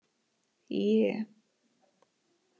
É